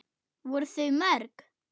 Voru þau mörg?